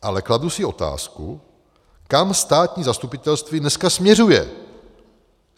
Ale kladu si otázku, kam státní zastupitelství dneska směřuje.